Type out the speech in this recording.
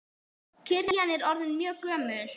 Kirkjan er orðin mjög gömul.